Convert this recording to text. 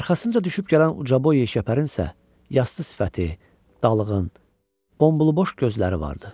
Arxasınca düşüb gələn ucaboy işgəpərənsə yastı sifəti, dalğın, bombul boş gözləri vardı.